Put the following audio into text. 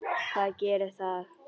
Hvað gerir það?